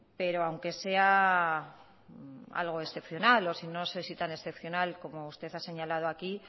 pero aunque sea algo excepcional o si no fue tan excepcional como usted ha señalado aquí